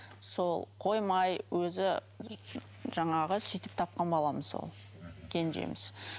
сол қоймай өзі жаңағы сөйтіп тапқан баламыз ол кенжеміз